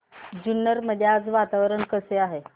जुन्नर मध्ये आज वातावरण कसे आहे